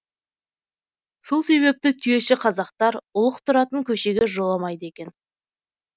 сол себепті түйеші казақтар ұлық тұратын көшеге жоламайды екен